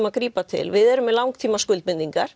að grípa til við erum með langtíma